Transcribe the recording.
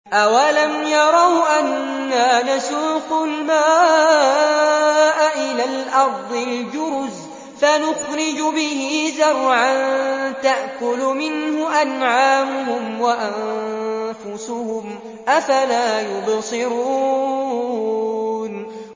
أَوَلَمْ يَرَوْا أَنَّا نَسُوقُ الْمَاءَ إِلَى الْأَرْضِ الْجُرُزِ فَنُخْرِجُ بِهِ زَرْعًا تَأْكُلُ مِنْهُ أَنْعَامُهُمْ وَأَنفُسُهُمْ ۖ أَفَلَا يُبْصِرُونَ